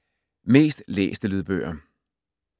Mest læste lydbøger